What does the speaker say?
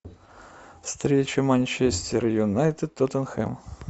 встреча манчестер юнайтед тоттенхэм